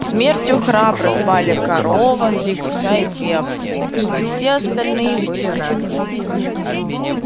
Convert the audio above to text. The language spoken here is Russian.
смертью храбрых пали корова три гуся и две овцы почти все остальные были ранены